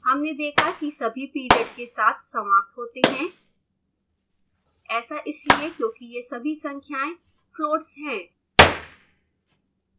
हमने देखा कि सभी period के साथ समाप्त होते हैं ऐसा इसलिए क्योंकि ये सभी संख्याएं floats हैं